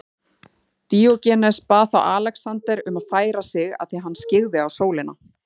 Díógenes bað þá Alexander um að færa sig því hann skyggði á sólina.